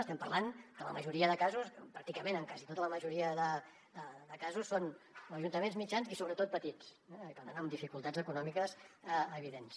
estem parlant que en la majoria de casos pràcticament en quasi tota la majoria de casos són ajuntaments mitjans i sobretot petits i per tant amb dificultats econòmiques evidents